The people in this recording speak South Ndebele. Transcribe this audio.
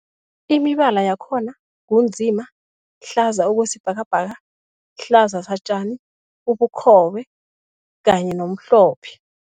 Imibala yakhona ngu nzima, hlaza okwesibhakabhaka, hlaza satjani, ubukhobe kanye nomhlophe.